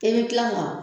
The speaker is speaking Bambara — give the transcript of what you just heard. I bɛ kila ka